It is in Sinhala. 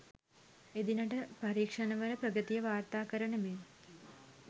එදිනට පරීක්ෂණවල ප්‍රගතිය වාර්තා කරන මෙන්